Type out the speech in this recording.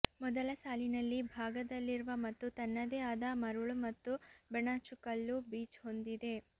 ಮೊದಲ ಸಾಲಿನಲ್ಲಿ ಭಾಗದಲ್ಲಿರುವ ಮತ್ತು ತನ್ನದೇ ಆದ ಮರಳು ಮತ್ತು ಬೆಣಚುಕಲ್ಲು ಬೀಚ್ ಹೊಂದಿದೆ